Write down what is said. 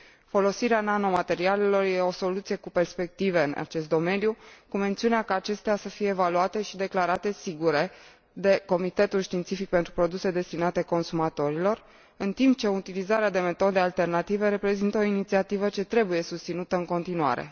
Folosirea nanomaterialelor e o soluție cu perspective în acest domeniu, cu mențiunea ca acestea să fie evaluate și declarate sigure de Comitetul științific pentru produse destinate consumatorilor, în timp ce utilizarea de metode alternative reprezintă o inițiativă ce trebuie susținută în continuare.